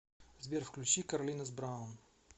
сбер включи карлинос браун